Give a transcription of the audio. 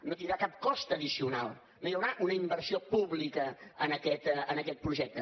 no tindrà cap cost addicional no hi haurà una inversió pública en aquest projecte